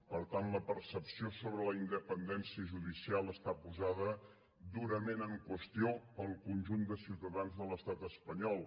per tant la percepció sobre la independència judicial està posada durament en qüestió pel conjunt de ciutadans de l’estat espanyol